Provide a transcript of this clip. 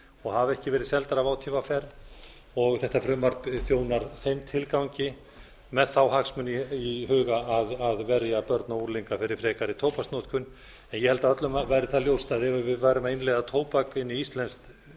og hafa ekki verið seldar af átvr þetta frumvarp þjónar þeim tilgangi með þá hagsmuni í huga að verja börn og unglinga fyrir frekari tóbaksnotkun ég held að öllum væri það ljóst að ef við værum að innleiða tóbak inn í íslensk